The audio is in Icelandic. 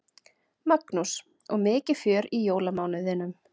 Magnús: Og mikið fjör í jólamánuðinum?